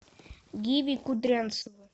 гиви кудрянцева